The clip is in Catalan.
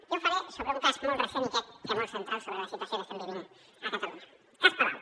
jo ho faré sobre un cas molt recent i crec que molt central sobre la situació que estem vivint a catalunya cas palau